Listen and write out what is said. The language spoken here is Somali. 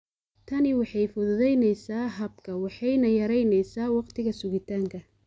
Tani waxay fududaynaysaa habka waxayna yaraynaysaa wakhtiga sugitaanka.